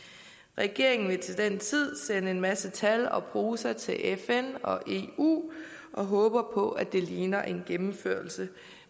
regeringen vil til den tid sende en masse tal og prosa til fn og eu og håbe på at det ligner en gennemførelse